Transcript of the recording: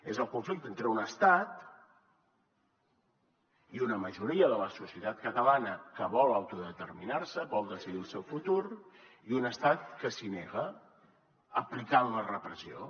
és el conflicte entre un estat i una majoria de la societat catalana que vol autodeterminar se vol decidir el seu futur i un estat que s’hi nega aplicant la repressió